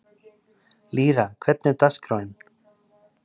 Lýra, hvernig er dagskráin?